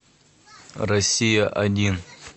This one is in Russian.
россия один